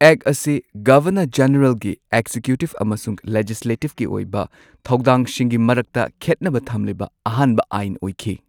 ꯑꯦꯛ ꯑꯁꯤ ꯒꯚꯔꯅꯔ ꯖꯦꯅꯔꯦꯜꯒꯤ ꯑꯦꯛꯖꯤꯀ꯭ꯌꯨꯇꯤꯕ ꯑꯃꯁꯨꯡ ꯂꯦꯖꯤꯁꯂꯦꯇꯤꯕꯀꯤ ꯑꯣꯏꯕ ꯊꯧꯗꯥꯡꯁꯤꯡꯒꯤ ꯃꯔꯛꯇ ꯈꯦꯠꯅꯕ ꯊꯝꯂꯤꯕ ꯑꯍꯥꯟꯕ ꯑꯥꯏꯟ ꯑꯣꯏꯈꯤ꯫